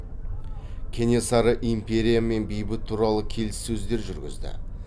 кенесары империямен бейбіт туралы келіссөздер жүргізді